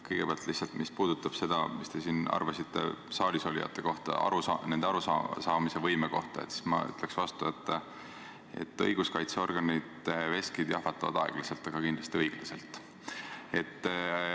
Kõigepealt, mis puudutab seda, mida te siin arvasite saalisolijate kohta, nende arusaamisvõime kohta, siis ma ütleksin vastu, et õiguskaitseorganite veskid jahvatavad aeglaselt, aga kindlasti õiglaselt.